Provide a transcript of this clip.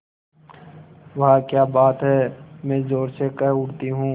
वाह क्या बात है मैं ज़ोर से कह उठती हूँ